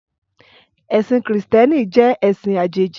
Ẹ̀sìn Krìstẹ́nì jẹ́ ẹ̀sìn àjèjì.